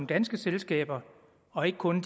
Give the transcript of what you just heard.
danske selskaber og ikke kun